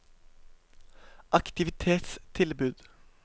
aktivitetstilbud